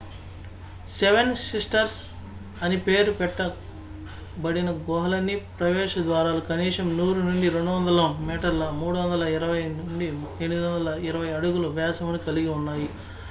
"""Seven sisters" అని పేరు పెట్ట బడిన గుహలన్నీ ప్రవేశ ద్వారాలు కనీసం 100 నుండి 250 మీటర్ల 328 నుండి 820 అడుగులు వ్యాసమును కలిగి ఉన్నాయి.""